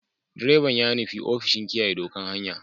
Direban ya nufi ofishin kiyaye ɗokan hanya.